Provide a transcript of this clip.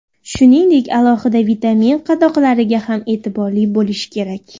Shuningdek, alohida vitamin qadoqlariga ham e’tiborli bo‘lish kerak.